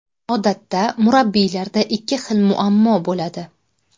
Odatda murabbiylarda ikki xil muammo bo‘ladi.